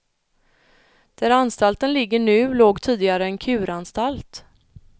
Där anstalten ligger nu låg tidigare en kuranstalt.